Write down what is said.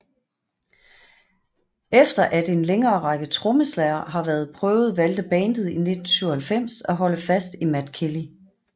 Efter at en længere række trommeslagere havde været prøvet valgte bandet i 1997 at holde fast i Matt Kelly